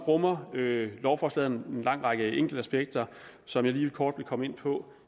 rummer lovforslaget en lang række enkeltaspekter som jeg lige kort vil komme ind på